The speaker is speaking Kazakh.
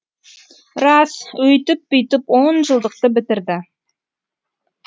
рас өйтіп бүйтіп он жылдықты бітірді